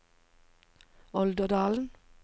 Olderdalen